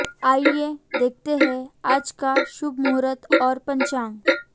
आइए देखते हैं आज का शुभ मुहूर्त और पंचांग